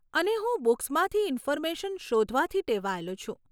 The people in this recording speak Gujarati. અને હું બૂક્સમાંથી ઇન્ફોર્મેશન શોધવાથી ટેવાયેલો છું.